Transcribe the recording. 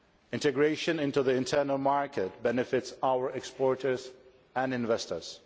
Integration into the internal market benefits our exporters and investors.